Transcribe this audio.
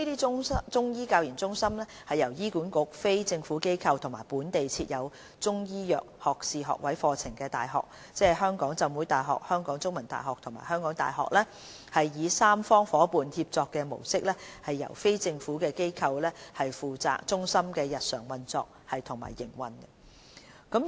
這些中醫教研中心由醫管局、非政府機構和本地設有中醫藥學士學位課程的大學，即香港浸會大學、香港中文大學和香港大學，以三方夥伴協作的模式由非政府機構負責中心的日常運作及營運。